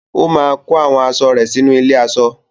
Ó máa kó àwọn aṣọ rẹ̀ sínú ilé-aṣọ.